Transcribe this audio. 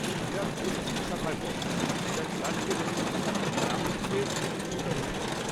ভিরার পশ্চিম শাখায় পড়ে যেটা চার্চগেট অব্দি যায়, যা হচ্ছে দক্ষিণতম স্টপ।